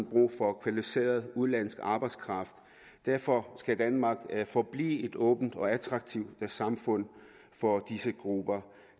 brug for kvalificeret udenlandsk arbejdskraft derfor skal danmark forblive et åbent og attraktivt samfund for disse grupper